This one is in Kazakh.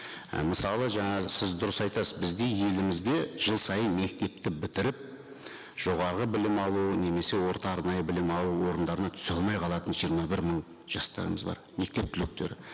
і мысалы жаңағы сіз дұрыс айтасыз бізде елімізде жыл сайын мектепті бітіріп жоғарғы білім алу немесе орта арнайы білім алу орындарына түсе алмай қалатын жиырма бір мың жастарымыз бар мектеп түлектері